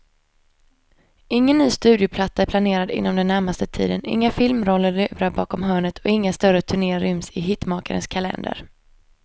Ingen ny studioplatta är planerad inom den närmaste tiden, inga filmroller lurar bakom hörnet och inga större turnéer ryms i hitmakarens kalender.